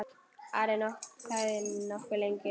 Ari þagði nokkuð lengi.